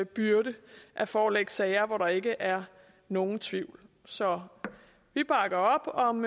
byrde at forelægge sager hvor der ikke er nogen tvivl så vi bakker op om